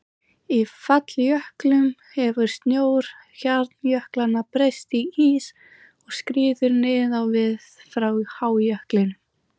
Í falljöklum hefur snjór hjarnjöklanna breyst í ís og skríður niður á við frá hájöklinum.